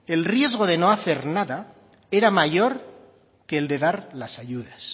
que el riesgo de no hacer nada era mayor que el de dar las ayudas